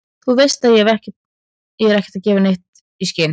Þú veist ég er ekki að gefa eitt né neitt í skyn.